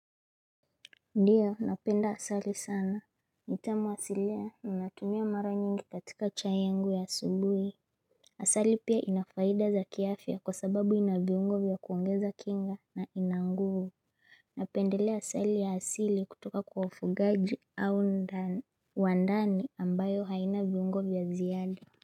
Ndio napenda asali sana. Ni utamu asilia na hutumia mara nyingi katika chai yangu ya asubuhi. Asali pia ina faida za kiafya kwa sababu ina viungo vya kuongeza kinga na ina nguvu. Napendelea asali ya asili kutoka kwa wafugaji au ndani wa ndani ambayo haina viungo vya ziada.